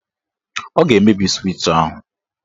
Ọ ga-emebi swịch ahụ.